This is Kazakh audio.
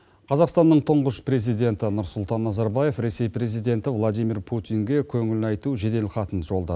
қазақстанның тұңғыш президенті нұрсұлтан назарбаев ресей президенті владимир путинге көңіл айту жедел хатын жолдады